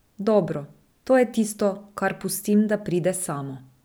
Dobro, to je tisto, kar pustim, da pride samo.